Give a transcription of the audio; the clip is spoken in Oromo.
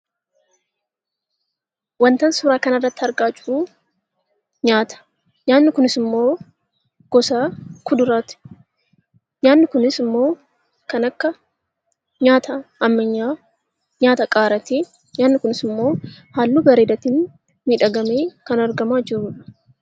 Wanti ani suuraa kana irratti argaa jirru nyaata. Nyaanni kunis ammoo gosa kuduraati. Nyaanni kunis ammoo kan akka nyaata ammayyaa nyaata qaaraati. Nyaanni kunis haalluu bareedaatin miidhagfamee kan argamaa jirudha.